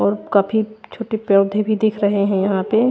और काफी छोटे पौधे भी दिख रहे है यहां पे--